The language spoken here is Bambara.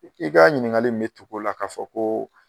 I k'i ka ɲiniŋakali in be tug'o la ka fɔ koo